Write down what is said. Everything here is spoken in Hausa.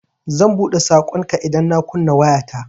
Zan buɗe saƙonka idan na kunna wayata.